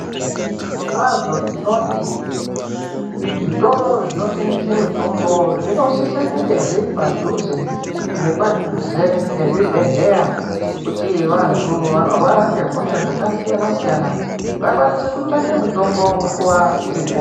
Zvirokwazvo tinoti zvitoro zvinotengesa mitombo zvinositse kunge zviri padhuze nepadhuze nechibhedhleya kuti vantu vanorwara ngezvakasiyana siyana vakwanise kutsavaka mutombo nguva iripo.